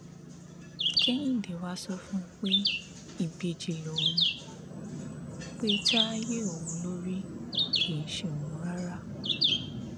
kẹhìndé wàá sọ fún un pé ìbejì lòun pe táyé òun ló rí kì í ṣe òun rárá